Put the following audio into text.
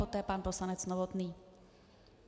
Poté pan poslanec Novotný.